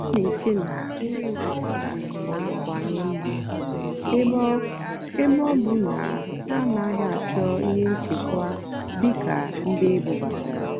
ọ́ nà-èché nà nrì mpàgàrà nà-àkáwanyé mmá ébé ọ́ ébé ọ́ bụ́ ná hà ánàghị́ àchọ́ íhé nchèkwá dì́ kà ndí ébúbátàrá.